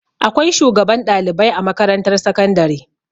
Akwai shugaban ɗalibai a makarantar sakandare.